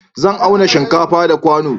Zan auna shinkafa da kwano